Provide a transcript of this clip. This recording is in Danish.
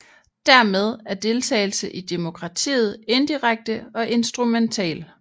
Dermed er deltagelse i demokratiet indirekte og instrumentel